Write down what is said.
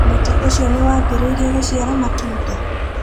Mũtĩ ũcio nĩ wambĩrĩirie gũciara matunda?